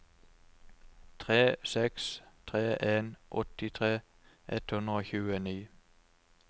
tre seks tre en åttitre ett hundre og tjueni